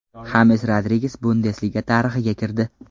Xames Rodriges Bundesliga tarixiga kirdi.